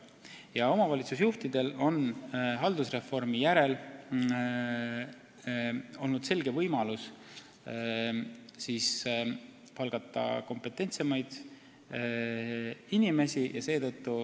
Ja omavalitsusjuhtidel on haldusreformi järel olnud võimalik palgata kompetentsemaid inimesi.